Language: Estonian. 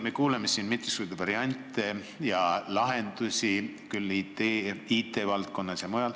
Me kuuleme siin mitmesuguseid variante ja lahendusi, küll IT-valdkonnas ja mujal.